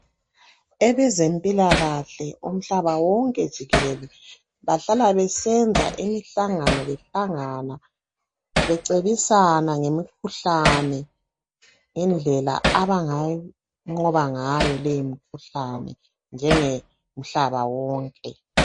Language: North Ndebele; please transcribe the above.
Abezempilakahle umhlaba wonke jikelele bahlala besenza imhlangano behlangana becebisana ngemikhuhlane ngendlela abangayinqoba ngayo leyo mkhuhlane njenge mhlaba wonke.